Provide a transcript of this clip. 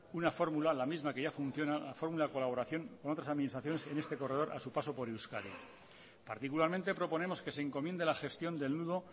una fórmula la misma que ya funciona la fórmula en colaboración con otras administraciones en este corredor a su paso por euskadi particularmente proponemos que se encomiende la gestión del nudo